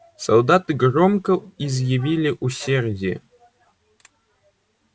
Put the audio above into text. солдаты громко изъявили усердие